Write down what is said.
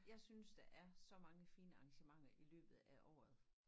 Jeg synes der er så mange fine arrangementer i løbet af året